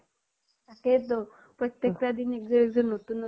তাকেই তো। প্ৰত্য়েকতা দিন একযোৰ একযোৰ নতুন